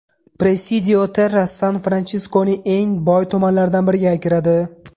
Presidio Terras San-Fransiskoning eng boy tumanlaridan biriga kiradi.